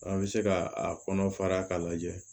An bɛ se ka a kɔnɔ fara ka lajɛ